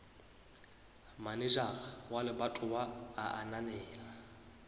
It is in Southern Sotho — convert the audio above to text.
manejara wa lebatowa a ananela